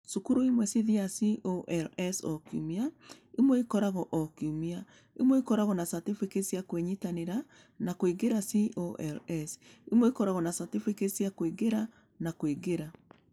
Cukuru imwe ciathiaga CoLs o kiumia, imwe ikoragwo o kiumia; imwe ikoragwo na certificate cia kwĩnyitanĩra na kũingĩra CoLs, imwe ikoragwo na certificate cia kũingĩra na kũingĩra.